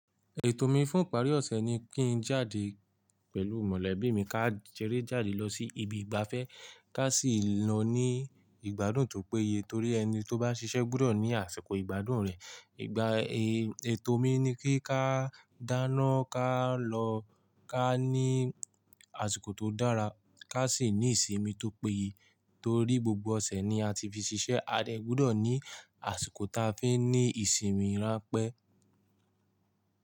Ètò mi fún ìparí ọ̀sẹ̀ ni kí n jáde pẹ̀lú mọ̀lẹ́bí mi, ká sere jáde lọ sí ibi ìgbafẹ́, ká sì lọ ní ìgbádùn tó péye. Itori ẹni tó bá ṣiṣẹ́ gbudo ní àsìkò ìgbádùn rẹ̀. Ìgbà ètò mi ni kí ká dáná, ká lọ, ká ní àsìkò tó dára, ká sì ní ìsinmi tó péye. Torí gbogbo ọ̀sẹ̀ ni a ti fi ṣiṣẹ́, a dẹ̀ gbudo ní àsìkò ta fi n ní ìsinmi rán pẹ́